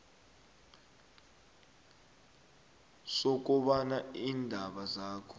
sokobana iindaba zakho